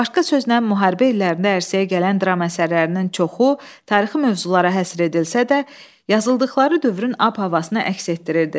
Başqa sözlə, müharibə illərində ərsəyə gələn dram əsərlərinin çoxu tarixi mövzulara həsr edilsə də, yazıldıqları dövrün ab-havasını əks etdirirdi.